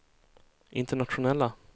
internationella